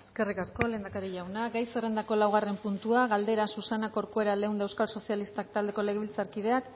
eskerrik asko lehendakari jauna gai zerrendako laugarren puntua galdera susana corcuera leunda euskal sozialistak taldeko legebiltzarkideak